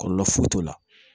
Kɔlɔlɔ foyi t'o la